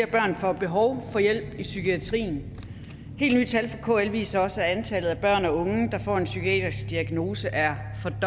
børn får behov for hjælp i psykiatrien helt nye tal fra kl viser også at antallet af børn og unge der får en psykiatrisk diagnose er